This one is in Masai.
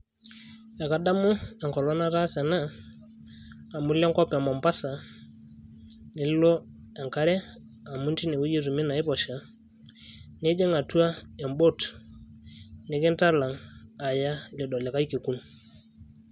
ekadamu enkolong nataasa ena amu ilo enkop e mombasa nilo enkare amu tinewueji etumi naiposha nijing atua embot nikintalang aya lido likay kekun.